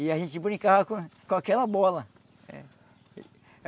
E a gente brincava com com aquela bola.